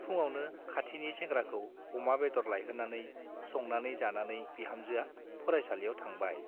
फुङावनो खाथिनि सेंग्राखौ अमा बेदर लाइहोनानै संनानै जानानै बिहामजोआ फरायसालियाव थांबाय ।